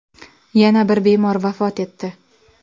Yana bir bemor vafot etdi.